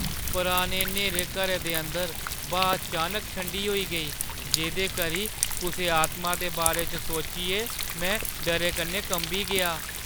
पुराने न्हेरे घरै दे अंदर ब्हा अचानक ठंडी होई गेई, जेह्दे करी कुसै आतमा दे बारे च सोचियै में डरै कन्नै कंबी गेआ।